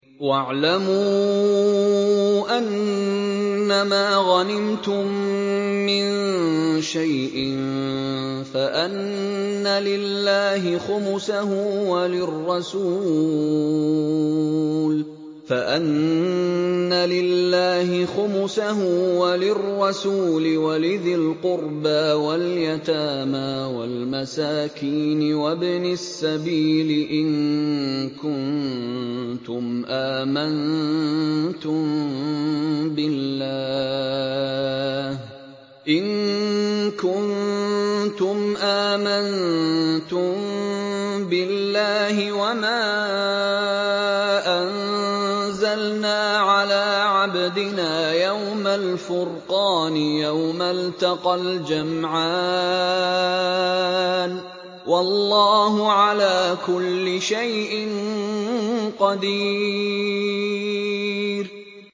۞ وَاعْلَمُوا أَنَّمَا غَنِمْتُم مِّن شَيْءٍ فَأَنَّ لِلَّهِ خُمُسَهُ وَلِلرَّسُولِ وَلِذِي الْقُرْبَىٰ وَالْيَتَامَىٰ وَالْمَسَاكِينِ وَابْنِ السَّبِيلِ إِن كُنتُمْ آمَنتُم بِاللَّهِ وَمَا أَنزَلْنَا عَلَىٰ عَبْدِنَا يَوْمَ الْفُرْقَانِ يَوْمَ الْتَقَى الْجَمْعَانِ ۗ وَاللَّهُ عَلَىٰ كُلِّ شَيْءٍ قَدِيرٌ